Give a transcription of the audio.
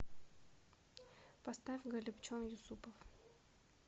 поставь голибчон юсупов